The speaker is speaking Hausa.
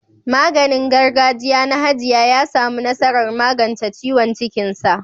Maganin gargajiya na hajiya ya samu nasarar magance ciwon cikinsa.